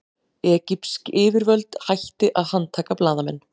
Egypsk yfirvöld hætti að handtaka blaðamenn